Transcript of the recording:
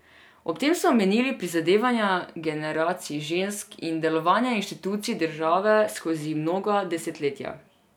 Ob tem so omenili prizadevanja generacij žensk in delovanja institucij države skozi mnoga desetletja.